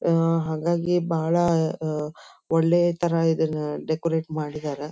ಆಹ್ಹ್ ಹಾಗಾಗಿ ಬಹಳ ಒಳ್ಳೆಯ ತರಹ ಇದನ್ನ ಡೆಕೋರಟ್ ಮಾಡಿದ್ದಾರೆ .